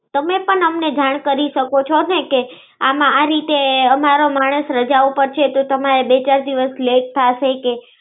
તમે પણ અમને ધ્યાન કરી શકો છો કે, આ રીતે અમારો માણસ રજા ઉપર છે તો તમે બે ચાર દિવસ લાતે થાશે.